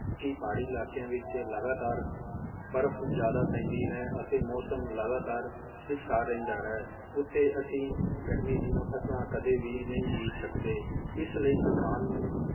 ਕਿ ਪਹਾੜੀ ਇਲਾਕਿਆਂ ਵਿਚ ਲਗਾਤਾਰ ਬਰਫ ਜ਼ਿਆਦਾ ਪੈਂਦੀ ਹੈ ਅਤੇ ਮੌਸਮ ਲਗਾਤਾਰ ਇਕ ਸਾਰ ਰਹਿੰਦਾ ਹੈ ਓਥੇ ਅਸੀਂ ਗਰਮੀ ਦੀਆਂ ਫਸਲਾਂ ਕਦੇ ਵੀ ਨਹੀਂ ਬੀਜ ਸਕਦੇ ਇਸ ਲਯੀ ਕਿਸਾਨ ਨੂੰ